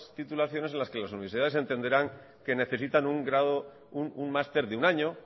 titulaciones en las que las universidades entenderán que necesitan un máster de un año